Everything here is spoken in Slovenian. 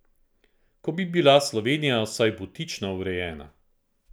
Ko bi bila Slovenija vsaj butično urejena.